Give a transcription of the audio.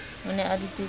o ne a dutse ka